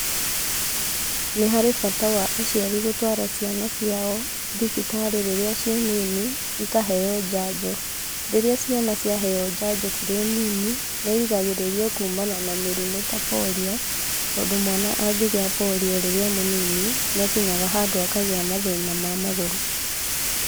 Nĩ harĩ bata wa aciari gũtũara ciana ciao thibitarĩ rĩrĩa ciĩ nini, ikaheo njanjo, Rĩrĩa ciana cia heo njanjo cirĩ nini , nĩ irĩgagĩrĩrio kuumana na mĩrimũ ta polio, tondũ mwana angĩgia polio rĩrĩa e mũnini, nĩ akinyaga handũ akagĩa thĩna wa magũrũ.